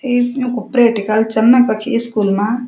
इ योंकु प्रेटिकल चंन्ना कखी स्कुल मां।